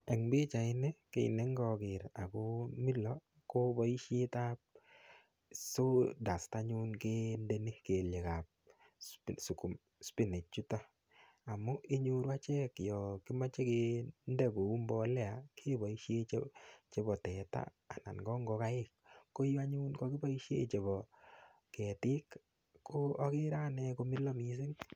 Eng' pichaini kii nengaker akomilo ko boishetab sawdust anyun kendeni kelyekab spinach chuto amun inyoru anyun achek yo kimoche kende kou mbolea keboishe chebo teta anan ko ngokaik ko yu anyun kakiboishe chebo ketik ko akere ane komilo mising'